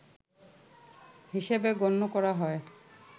হিসেবে গণ্য করা হয়